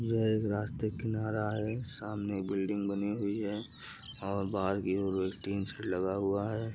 यह एक रास्ते का किनारा है। सामने बिल्डिंग बनी हुई है और बाहर टिन शेड लगा हुआ है।